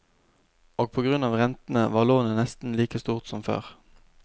Og på grunn av rentene, var lånet nesten like stort som før.